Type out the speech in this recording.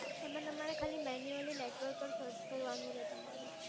એમાં તમારે ખાલી મેન્યુઅલી નેટવર્ક જ સર્ચ કરવાનું રેહ તમારું.